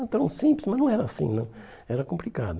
Então, simples, mas não era assim né, era complicado.